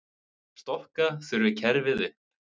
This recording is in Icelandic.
Stokka þurfi kerfið upp.